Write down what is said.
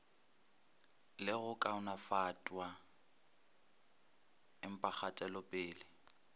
le go kaonafatpwa empa kgatelelo